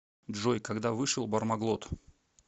джой когда вышел бармаглот